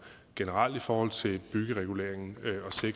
generelt i forhold til byggereguleringen